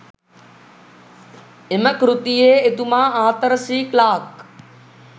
එම කෘතියේ, එතුමා ආතර් සී ක්ලාක්